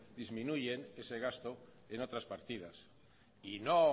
disminuyen ese gasto en otras partidas y no